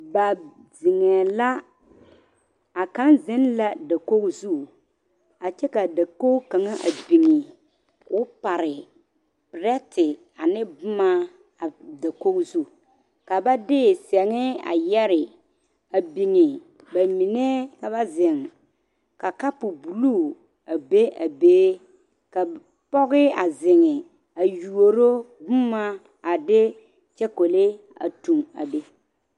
A zeŋɛɛ la a kaŋ zeŋ la dakogi zu a kyɛ ka dakogi kaŋ meŋ a biŋe k,o pare perɛte ane boma a dakogi zu ka ba de sɛŋe a yɛre a biŋe ba mine ka ba zeŋ ka kapu bulu a be a be ka pɔge a zeŋ a yuoro boma a de kyɔkole a toŋ a be.